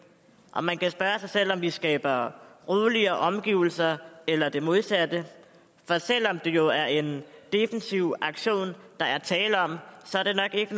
og man kan spørge sig selv om vi skaber roligere omgivelser eller det modsatte for selv om det jo er en defensiv aktion der er tale om så er det nok ikke